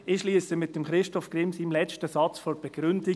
» Ich schliesse mit Christoph Grimms letztem Satz der Begründung: